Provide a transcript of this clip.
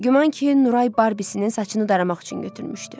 Güman ki, Nuray Barbisinin saçını daramaq üçün götürmüşdü.